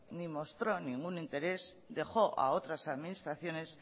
ni mostró ningún interés dejó a otras administraciones